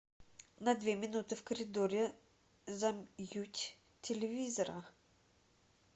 на две минуты в коридоре замьють телевизора